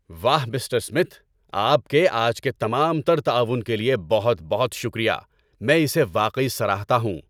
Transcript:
واہ، mister Smith.! آپ کے آج کے تمام تر تعاون کے لیے بہت بہت شکریہ۔ میں اسے واقعی سراہتا ہوں!